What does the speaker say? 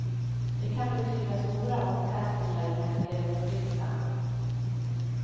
Det kan betyda stora omkastningar i placeringslistan.